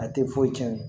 A tɛ foyi tiɲɛ